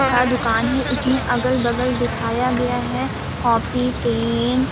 का दुकान इसमे अगल-बगल दिखाया कॉपी पेन --